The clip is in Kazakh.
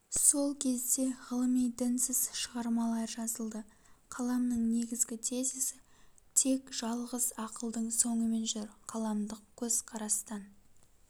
сол кезде ғылыми дінсіз шығармалар жазылды қаламның негізгі тезисі тек жалғыз ақылдың соңымен жүр қаламдық көзкарастан